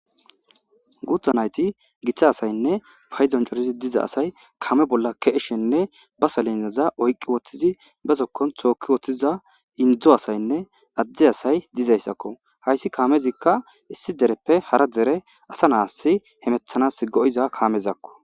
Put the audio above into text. gutha nayti giththa asaynne fayzoncorizi diza asay kame bolla keeshenne ba salinzaza oyqqi woththizi besokkon thookki woththiza indzdzo asaynne addi asay dizayssakko hayssi kaamezikka issi dereppe hara dere asa naas hemethanas go7iza kaamezakko